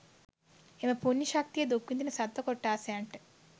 එම පුණ්‍ය ශක්තිය දුක්විඳින සත්ව කොට්ඨාසයන්ට